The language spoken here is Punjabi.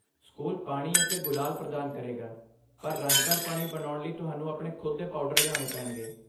ਸਕੂਲ ਪਾਣੀ ਅਤੇ ਗੁਲਾਲ ਪ੍ਰਦਾਨ ਕਰੇਗਾ, ਪਰ ਰੰਗਦਾਰ ਪਾਣੀ ਬਣਾਉਣ ਲਈ ਤੁਹਾਨੂੰ ਆਪਣੇ ਖੁਦ ਦੇ ਪਾਊਡਰ ਲਿਆਉਣੇ ਪੈਣਗੇ।